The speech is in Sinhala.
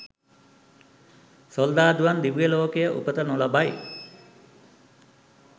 සොල්දාදුවන් දිව්‍යලෝකයේ උපත නොලබයි.